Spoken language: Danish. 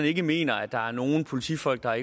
ikke mener at der er nogen politifolk der